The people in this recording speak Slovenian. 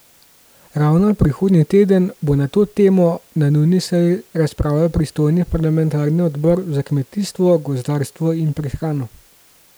Ravno prihodnji teden bo na to temo na nujni seji razpravljal pristojni parlamentarni odbor za kmetijstvo, gozdarstvo in prehrano.